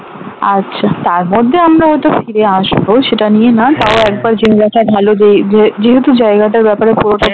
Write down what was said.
আচ্ছা তার মধ্যে আমরা হয়ত ফিরে আসব সেটা নিয়ে নয় তাও একবার জেনে রাখা ভালো যে যেহেতু জায়গাটার ব্যাপারে পুরোটা